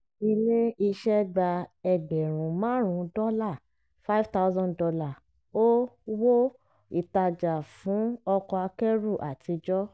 ilé iṣẹ́ gba ẹgbẹ̀rún márùn-ún dọ́là five thousand dollar o wó ìtajà fún ọkọ̀ akẹ́rù àtijọ́.